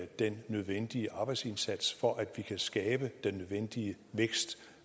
den nødvendige arbejdsindsats for at vi kan skabe den nødvendige vækst